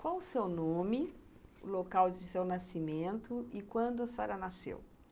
Qual o seu nome, o local de seu nascimento e quando a senhora nasceu?